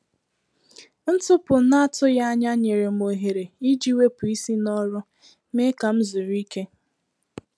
Ntụpụ n’atụghị ànyà nyere m ohere iji wepụ isi n’ọrụ, mee ka m zuru íké.